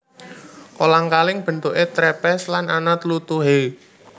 Kolang kaling bentuké trepes lan ana tlutuhe